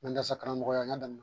Mandarasa karamɔgɔya n ya dami